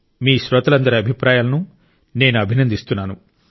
మీ శ్రోతలందరి అభిప్రాయాలను నేను అభినందిస్తున్నాను